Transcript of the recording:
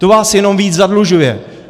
To vás jenom víc zadlužuje.